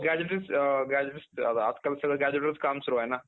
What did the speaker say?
आजकाल सगळं gazette वरचं काम सुरु आहे ना .